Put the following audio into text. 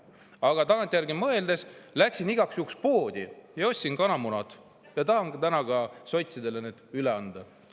Aga tagantjärgi mõeldes läksin igaks juhuks poodi ja ostsin kanamunad ja tahan need täna sotsidele üle anda.